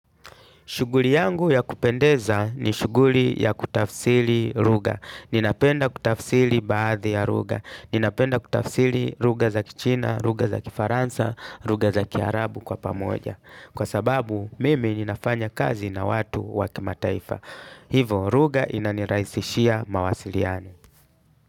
Shuguli yangu ya kupendeza ni shuguli ya kutafsili luga. Ninapenda kutafsili baadhi ya ruga. Ninapenda kutafsili ruga za kichina, ruga za kifaransa, ruga za kiarabu kwa pamoja. Kwa sababu, mimi ninafanya kazi na watu wa kimataifa. Hivo, ruga inaniraisishia mawasiliano.